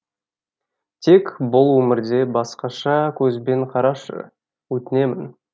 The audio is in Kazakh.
тек бұл өмірде басқаша көзбен қарашы өтінемін